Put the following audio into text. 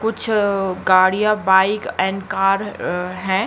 कुछ अ गाड़ियां बाइक एंड कार अ हैं।